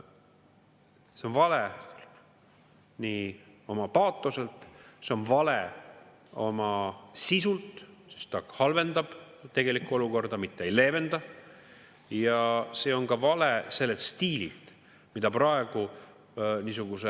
See on vale oma paatoselt, see on vale oma sisult, sest see halvendab tegelikku olukorda, mitte ei leevenda, ning see on vale ka sellelt stiililt, mida praegu niisuguse …